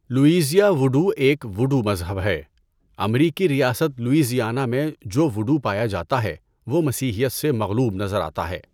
لوویزیا voodoo ایک voodoo مذہب ہے۔ امریکی ریاست لوویزیانا میں جو وُڈوو پایا جاتا ہے وہ مسیحیت سے مغلوب نظر آتا ہے۔